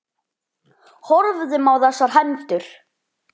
Horfðum á þessar hendur.